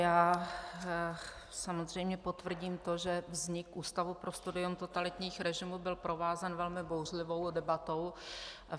Já samozřejmě potvrdím to, že vznik Ústavu pro studium totalitních režimů byl provázen velmi bouřlivou debatou.